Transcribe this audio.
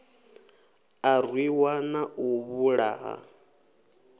a rwiwa na u vhulahwa